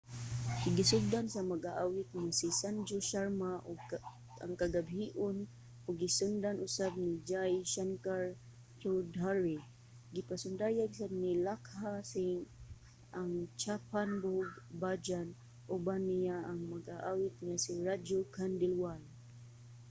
gisugdan sa mag-aawit nga si sanju sharma ang kagabhion ug gisundan usab ni jai shankar choudhary. gipasundayag sad ni lakkha singh ang chhappan bhog bhajan. uban niya ang mag-aawit nga si raju khandelwal